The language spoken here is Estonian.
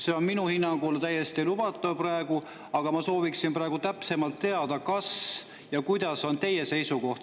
See on minu hinnangul täiesti lubatav praegu, aga ma sooviksin täpsemalt teada, mis on teie seisukoht.